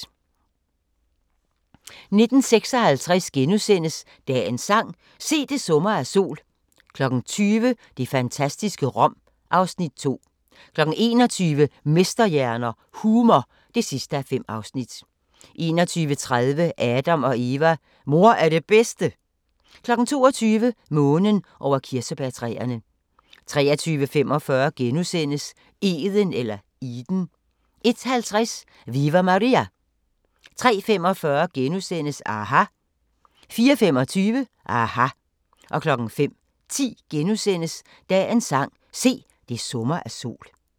19:56: Dagens sang: Se, det summer af sol * 20:00: Det fantastiske Rom (Afs. 2) 21:00: Mesterhjerner – humor (5:5) 21:30: Adam & Eva: Mor er det bedste? 22:00: Månen over kirsebærtræerne 23:45: Eden * 01:50: Viva Maria! 03:45: aHA! * 04:25: aHA! 05:10: Dagens sang: Se, det summer af sol *